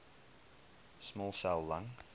small cell lung